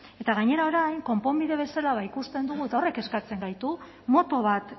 eta gainera orain konponbide bezala ikusten dugu eta horrek kezkatzen gaitu moto bat